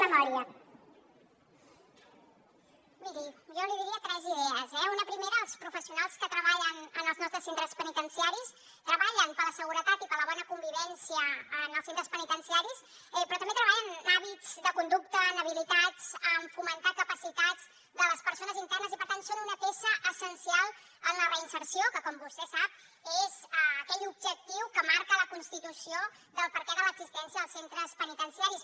miri jo li diria tres idees eh una primera els professionals que treballen en els nostres centres penitenciaris treballen per la seguretat i per la bona convivència en els centres penitenciaris però també treballen en hàbits de conducta en habilitats en fomentar capacitats de les persones internes i per tant són una peça essencial en la reinserció que com vostè sap és aquell objectiu que marca la constitució del perquè de l’existència dels centres penitenciaris